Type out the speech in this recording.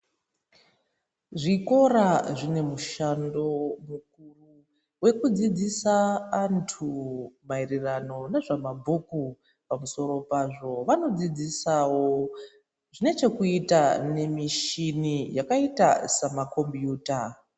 Zvikora zvine mushando wekudzidzisa antu maererano nezvemabhuku pamusoro pazvo vanodzidzisawo zvine chekuita nemichini yakaita sama kombiyuta.